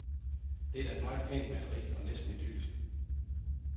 Det er da et meget pænt maleri og næsten idyllisk.